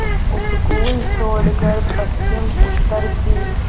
उपकूल छोड़कर पश्चिमउत्तर की